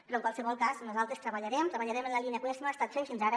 però en qualsevol cas nosaltres treballarem en la línia en que ho hem estat fent fins ara